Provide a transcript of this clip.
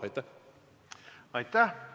Aitäh!